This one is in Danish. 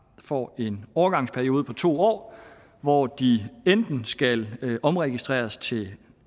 får en overgangsperiode på to år hvor de enten skal omregistreres til